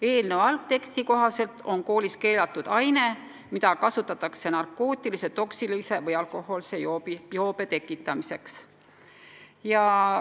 Eelnõu algteksti kohaselt on koolis keelatud aine, mida kasutatakse narkootilise, toksilise või alkohoolse joobe tekitamiseks.